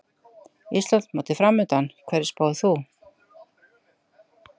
Íslandsmótið framundan, hverju spáir þú?